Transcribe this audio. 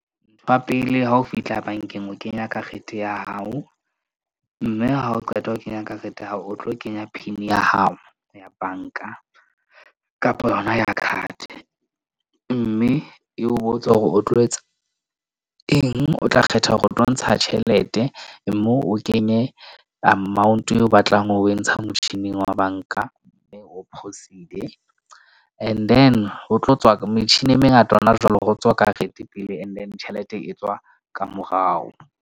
Ntho ya pele, ha o fihla bank-eng, o kenya karete ya hao. Mme ha o qeta ho kenya karete ya hao, o tlo kenya PIN ya hao ya bank-a kapa yona card. Mme e o botsa hore o tlo etsa eng. O tla kgetha hore o tlo ntsha tjhelete moo, o kenye amount eo o batlang ho e ntsha motjhining wa bank-a, eo and then ho tlo tswa metjhini e mengata hona jwale ho tswa karete pele, and then tjhelete e tswa ka morao.